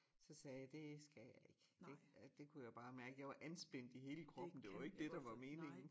Så sagde jeg det skal jeg ik det det kunne jeg bare mærke jeg var anspændt i hele kroppen det var ikke dét der var meningen